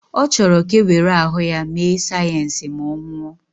Ọ chọrọ ka e were ahụ ya mee sayensị ma ọ nwụọ